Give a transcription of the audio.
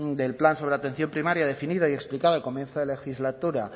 del plan sobre atención primaria definida y explicado al comienzo de legislatura